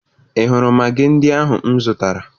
Ị hụrụ magị ndị ahụ m zụtara?